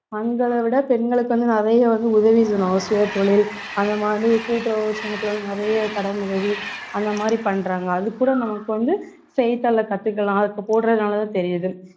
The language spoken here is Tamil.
ஆண்களை விட பெண்களுக்கு வந்து நிறைய வந்து உதவி செய்யணும் சுய தொழில் அந்த மாதிரி கூட்டுறவு சங்கத்துல வந்து நிறைய கடன் உதவி அந்த மாதிரி பண்றாங்க அது கூட நமக்கு வந்து செய்தித்தாளை கத்துக்கலாம் அதுக்கு போடுறதுனாலதான் தெரியுது